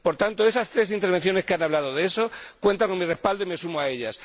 Por tanto, esas tres intervenciones que han hablado de eso cuentan con mi respaldo y me sumo a ellas.